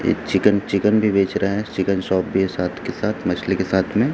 chicken chicken भी बेच रहे है चिकन शॉप के साथ के साथ मछली के साथ में --